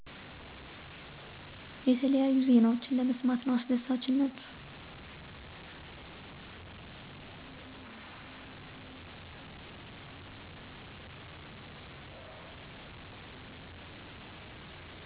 የተለያዩ ዜናወችን ለመሰማት ነው አሰደሳችነቱ።